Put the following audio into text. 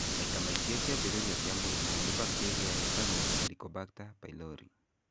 Maita maingĩ kĩambĩrĩria kĩa mũrimũ nĩ bacteria yĩtagwo Helicobacter pylori.